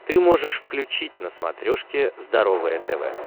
ты можешь включить на смотрешке здоровое тв